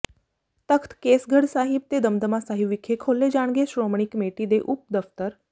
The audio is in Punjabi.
ਤਖ਼ਤ ਕੇਸਗੜ੍ਹ ਸਾਹਿਬ ਤੇ ਦਮਦਮਾ ਸਾਹਿਬ ਵਿਖੇ ਖੋਲ੍ਹੇ ਜਾਣਗੇ ਸ਼੍ਰੋਮਣੀ ਕਮੇਟੀ ਦੇ ਉਪ ਦਫ਼ਤਰ